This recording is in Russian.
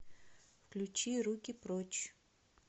включи руки прочь